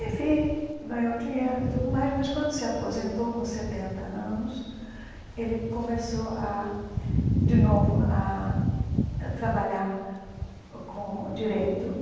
Enfim, ganhou dinheiro e tudo mais, mas, quando se aposentou, com setenta anos, ele começou a de novo a trabalhar com o direito.